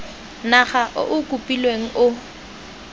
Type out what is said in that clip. naga o o kopilweng o